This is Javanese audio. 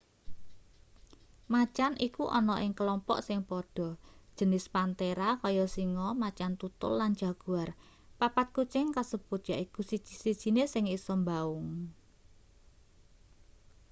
macan iku ana ing kelompok sing padha jenis panthera kaya singa macan tutul lan jaguar. papat kucing kasebut yaiku siji-sijine sing isa mbaung